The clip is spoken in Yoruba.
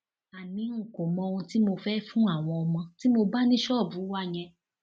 àní n kò mọ ohun tí mo fẹẹ fún àwọn ọmọ tí mo bá ní ṣọọbù wa yẹn